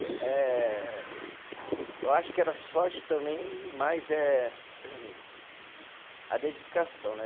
Eh, eu acho que era sorte também, e mais é a dedicação, né?